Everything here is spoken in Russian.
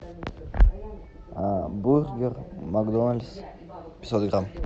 бургер макдональдс пятьсот грамм